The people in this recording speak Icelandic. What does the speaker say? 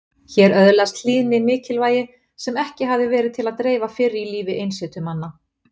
Hér öðlaðist hlýðni mikilvægi sem ekki hafði verið til að dreifa fyrr í lífi einsetumanna.